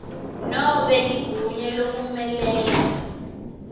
nobe ligunya lekumelela